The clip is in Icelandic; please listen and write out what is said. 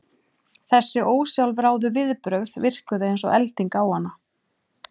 Þessi ósjálfráðu viðbrögð virkuðu eins og elding á hana.